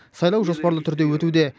сайлау жоспарлы түрде өтуде